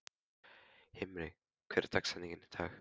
Himri, hver er dagsetningin í dag?